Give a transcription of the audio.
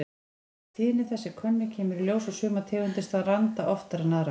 Ef tíðni þess er könnuð kemur í ljós að sumar tegundir stranda oftar en aðrar.